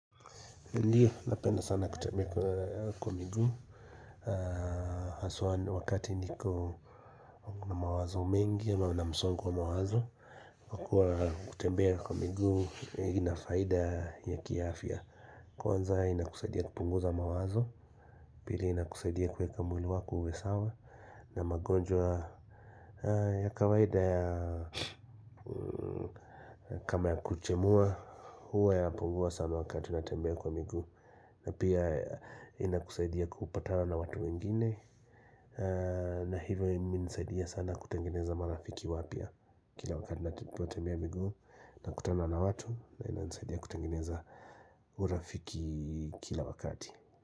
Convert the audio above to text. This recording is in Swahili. Ndiyo, napenda sana kutembea kwa miguu, haswaa wakati niko na mawazo mengi au na msongo wa mawazo. Kutembea kwa miguu ina faida ya kiafya Kwanza inakusaidia kupunguza mawazo Pili inakusaidia kuweka mwili wako uwe sawa na magonjwa ya kawaida kama ya kuchemua huwa yanapungua sana wakati natembea kwa miguu na pia inakusaidia kupatana na watu wengine na hivyo imenisaidia sana kutengeneza marafiki wapya Kila wakati ninapotembea miguu nakutana na watu na inanisaidia kutangeneza urafiki kila wakati.